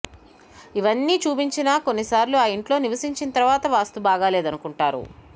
ఇవ్వన్నీ చూపించినా కొన్నిసార్లు ఆ ఇంట్లో నివసించిన తర్వాత వాస్తు బాగాలేదనుకుంటారు